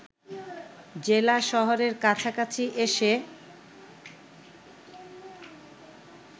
জেলা শহরের কাছাকাছি এসে